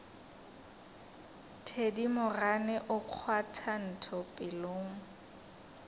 thedimogane o kgwatha ntho pelong